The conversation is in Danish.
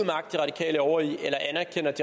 over jo